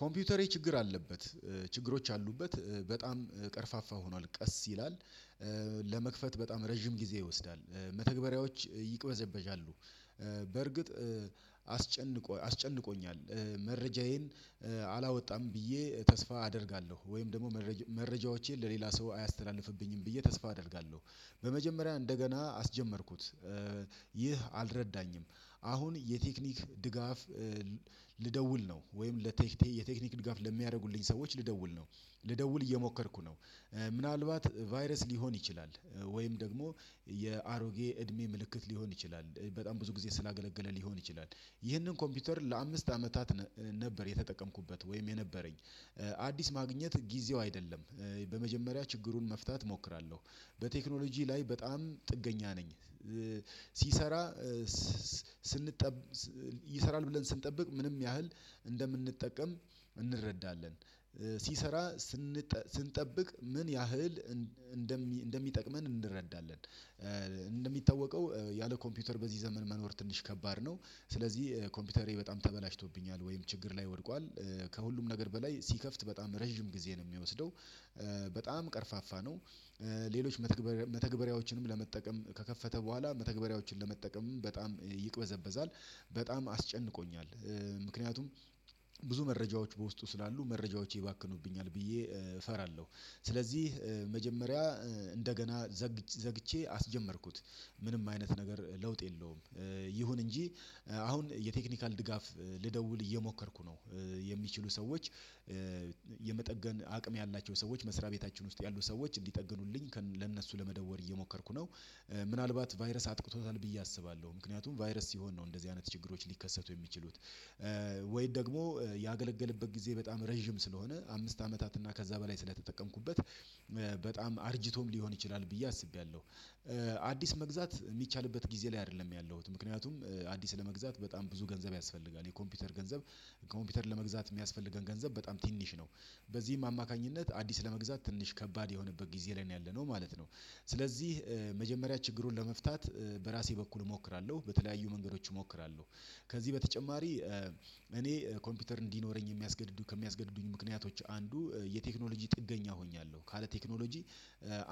ኮምፒውተሬ ችግር አለበት። ችግሮች አሉበት። በጣም ቀርፋፋ ሆኗል ቀስ ይላል፣ ለመክፈት በጣም ረዥም ጊዜ ይወስዳል፣ መተግበሪያዎች ይቅበዘበዣሉ፣ በርግጥ እ አስጨንቆ እ አስጨንቆኛል። እ መረጃዬን እ አላወጣም ብዬ ተስፋ አደርጋለሁ። ወይም ደሞ መረጃ መረጃዎቼን ለሌላ ሰው አያስተላልፍብኝም ብዬ ተስፋ አደርጋለሁ። በመጀመሪያ እንደገና አስጀመርኩት። እ ይህ አልረዳኝም። አሁን የቴክኒክ ድጋፍ እ ልደውል ነው። ወይም ለቴክኒ የቴክኒክ ድጋፍ ለሚያረጉልኝ ሰዎች ልደውል ነው። ልደውል እየሞከርኩ ነው። ምናልባት ቫይረስ ሊሆን ይችላል ወይም ደግሞ የአሮጌ እድሜ ምልክት ሊሆን ይችላል። በጣም ብዙ ጊዜ ስላገለገለ ሊሆን ይችላል። ይህንን ኮምፒውተር ለአምስት አመታት ነ ነበር የተጠቀምኩበት ወይም የነበረኝ። አዲስ ማግኘት ጊዜው አይደለም። እ በመጀመሪያ ችግሩን መፍታት ሞክራለሁ። በቴክኖሎጂ ላይ በጣም ጥገኛ ነኝ። እ ሲሰራ ስ ስ ስንጠብ ስ ይሰራል ብለን ስንጠብቅ ምንም ያህል እንደምንጠቀም እንረዳለን። ሲሰራ ስንጠ ስንጠብቅ ምን ያህል እን እንደ እንደሚጠቅመን እንረዳለን። እ እንደሚታወቀው ያለ ኮምፒውተር በዚህ ዘመን መኖር ትንሽ ከባድ ነው። ስለዚህ ኮምፒውተሬ በጣም ተበላሽቶብኛል ወይም ችግር ላይ ወድቋል። ከሁሉም ነገር በላይ ሲከፍት በጣም ረዥም ጊዜ ነው ሚወስደው። እ በጣም ቀርፋፋ ነው። እ ሌሎች መተግበር መተግበሪያዎችንም ለመጠቀም ከከፈተ በኋላ መተግበሪያዎችን ለመጠቀምም በጣም ይቅበዘበዛል። በጣም አስጨንቆኛል ምክንያቱም ብዙ መረጃዎች በውስጡ ስላሉ መረጃዎቼ ይባክኑብኛል ብዬ እፈራለሁ። ስለዚህ እ መጀመሪያ እ እንደገና ዘግቼ ዘግቼ አስጀመርኩት። ምንም አይነት ነገር ለውጥ የለውም። ይሁን እንጂ አሁን የቴክኒካል ድጋፍ ልደውል እየሞከርኩ ነው። እ የሚችሉ ሰዎች፣ እ የመጠገን አቅም ያላቸው ሰዎች፣ መስሪያ ቤታችን ውስጥ ያሉ ሰዎች እንዲጠግኑልኝ ከን ለእነሱ ለመደወል እየሞከርኩ ነው። ምናልባት ቫይረስ አጥቅቶታል ብዬ አስባለሁ። ምክንያቱም ቫይረስ ሲሆን ነው እንደዚህ አይነት ችግሮች ሊከሰቱ የሚችሉት። እ ወይን ደግሞ ያገለገለበት ጊዜ በጣም ረዥም ስለሆነ፣ አምስት አመታት እና ከዛ በላይ ስለተጠቀምኩበት እ በጣም አርጅቶም ሊሆን ይችላል ብዬ አስቤያለሁ። አዲስ መግዛት ሚቻልበት ጊዜ ላይ አደለም ያለሁት። ምክንያቱም አዲስ ለመግዛት በጣም ብዙ ገንዘብ ያስፈልጋል። የኮምፒውተር ገንዘብ ኮምፒውተር ለመግዛት ሚያስፈልገን ገንዘብ በጣም ትንሽ ነው። በዚም አማካኝነት አዲስ ለመግዛት ትንሽ ከባድ የሆነበት ጊዜ ላይ ነው ያለነው ማለት ነው። ስለዚህ እ መጀመሪያ ችግሩን ለመፍታት በራሴ በኩል እሞክራለሁ። በተለያዩ መንገዶች እሞክራለሁ። ከዚህ በተጨማሪ እኔ ኮምፒውተር እንዲኖረኝ የሚያስገድዱ ከሚያስገድዱኝ ምክንያቶች አንዱ የቴክኖሎጂ ጥገኛ ሆኛለሁ። ካለ ቴክኖሎጂ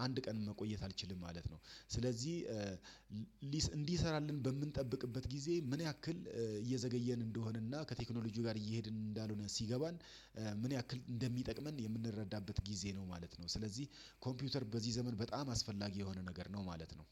አንድ ቀን መቆየት አልችልም ማለት ነው። ስለዚህ እ ሊሰ እንዲሰራልን በምንጠብቅበት ጊዜ ምን ያክል እየዘገየን እንደሆነና ከቴክኖሎጂው ጋር እየሄድን እንዳልሆነ ሲገባን፣ እ ምን ያክል እንደሚጠቅመን የምንረዳበት ጊዜ ነው ማለት ነው። ስለዚህ ኮምፒውተር በዚህ ዘመን በጣም አስፈላጊ የሆነ ነገር ነው ማለት ነው።